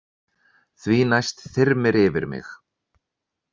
Því næst þyrmir yfir mig.